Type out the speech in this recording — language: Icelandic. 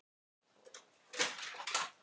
Þarna stóð kassinn á miðju ísköldu steingólfinu.